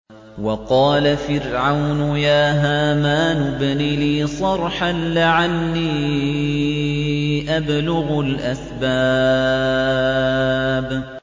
وَقَالَ فِرْعَوْنُ يَا هَامَانُ ابْنِ لِي صَرْحًا لَّعَلِّي أَبْلُغُ الْأَسْبَابَ